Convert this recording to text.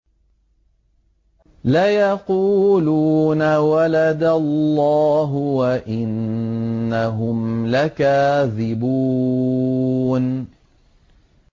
وَلَدَ اللَّهُ وَإِنَّهُمْ لَكَاذِبُونَ